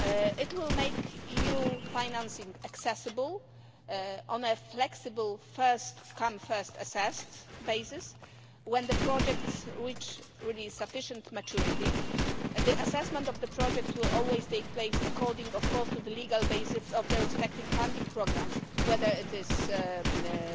It will make EU financing accessible on a flexible first come, first assessed basis. When the project reaches sufficient maturity, the assessment of the project will always take place according, of course, to the legal basis of their respective funding programmes, whether it is the